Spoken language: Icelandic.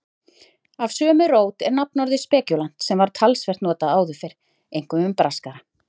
Af sömu rót er nafnorðið spekúlant sem var talsvert notað áður fyrr, einkum um braskara.